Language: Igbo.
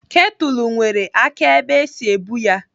Ketụlụ nwere aka ebe esi ebu ya.